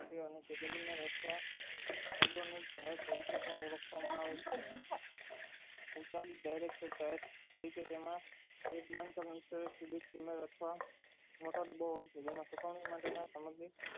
તેમાં એક બાન્ધકારણ મોટો ડાબો હોય છે જેમાં સુકવણી માટે ના સમગ્ર